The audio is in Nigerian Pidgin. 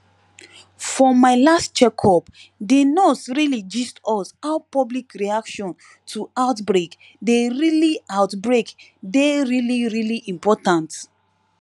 for my last check up de nurse really gist us how public reaction to outbreak dey really outbreak dey really really important